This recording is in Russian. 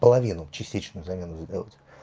половину частично замену сделать